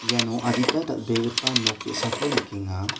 iano adita dal·begipa nok ge·sako nikenga.